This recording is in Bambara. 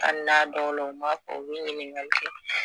Hali n'a dɔw la u ma fɔ u bi ɲininkali kɛ